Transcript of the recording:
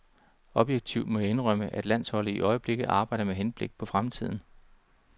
Objektivt må jeg indrømme, at landsholdet i øjeblikket arbejder med henblik på fremtiden.